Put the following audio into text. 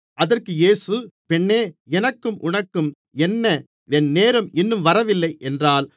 அதற்கு இயேசு பெண்ணே எனக்கும் உனக்கும் என்ன என் நேரம் இன்னும் வரவில்லை என்றார்